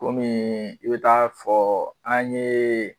Kɔmi i bɛ t taa fɔ an ye